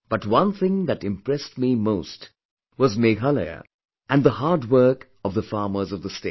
But one thing that impressed me most was Meghalaya and the hard work of the farmers of the state